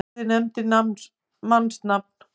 Hafliði nefndi mannsnafn.